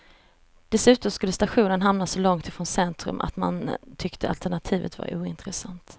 Dessutom skulle stationen hamna så långt från centrum att man tyckte alternativet var ointressant.